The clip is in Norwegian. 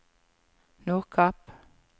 Nordkapp